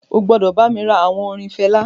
O gbúdọ̀ bá mi ra àwọn orin Fela.